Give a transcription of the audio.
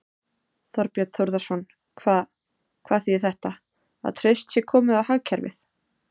Þorbjörn Þórðarson: Hvað, hvað þýðir þetta, að traust sé komið á hagkerfið?